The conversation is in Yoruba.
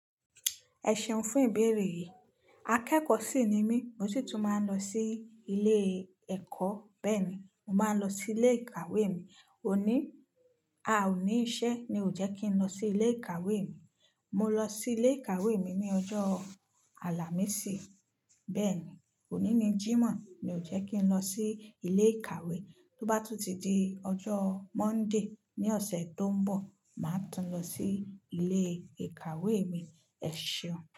Ẹ ṣeun fún ìbéèrè yìí. Akẹ́kọ̀ọ́ sì ni mí, mo sì tún máa ń lọ sí ilé ẹ́kọ́. Bẹ́ẹ̀ ni, mo máa ń lọ sí ilé ìkàwé mi. Òní, a ò ní iṣẹ́, ni ò jẹ́ kí n lọ sí ilé ìkàwé mi. Mo lọ sí ilé ìkàwé mi ní ọjọ́ Alámìsì. Bẹ́ẹ̀ ni, òní ni Jímọ̀, mi ò jẹ́ kí n lọ sí ilé ìkàwé. Tó bá tún ti di ọjọ́ Monday ní ọ̀sẹ̀ tó ń bọ̀, màá tún lọ sí ilé ìkàwé mi. Ẹ ṣeun.